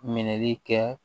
Minɛli kɛ